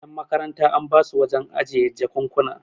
yanmakaranta an basu wajen ajiye jakunkuna